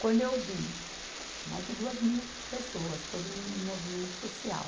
Quando eu vi, mais de duas mil pessoas, todo mundo no movimento social.